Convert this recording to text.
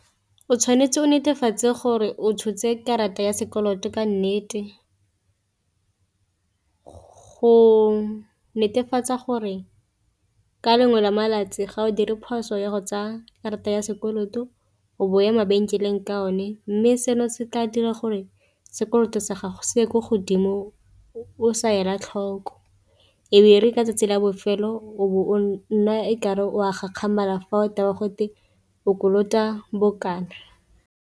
O tshwanetse o netefatse gore o tshotse karata ya sekoloto ka nnete, go netefatsa gore ka lengwe la malatsi ga o dire phoso ya go tsaya karata ya sekoloto o bo o ya mabenkeleng ka o ne, mme seno se tla dira gore sekoloto sa gago se ye ko godimo o sa ela tlhoko ebe re ka 'tsatsi la bofelo o bo o nna e kare o a gakgamala fa o tewa gote o kolota bokana.